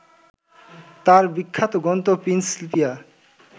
তার বিখ্যাত গ্রন্থ প্রিন্সপিয়া